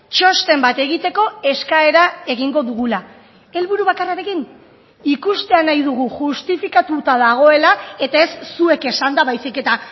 txosten bat egiteko eskaera egingo dugula helburu bakarrarekin ikustea nahi dugu justifikatuta dagoela eta ez zuek esanda baizik eta